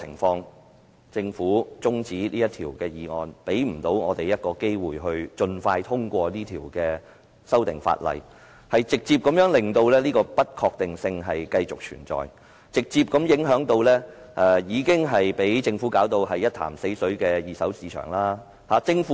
但是，政府中止審議《條例草案》，讓我們沒機會盡快通過《條例草案》，直接令這不確定性繼續存在，直接影響已被政府弄到一潭死水的二手市場。